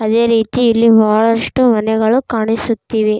ಅದೇ ರೀತಿ ಇಲ್ಲಿ ಬಹಳಷ್ಟು ಮನೆಗಳು ಕಾಣಿಸುತ್ತಿವೆ.